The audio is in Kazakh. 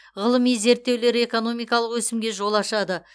ғылыми зерттеулер экономикалық өсімге жол ашады